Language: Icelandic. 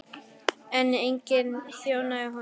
En enginn þjónaði honum.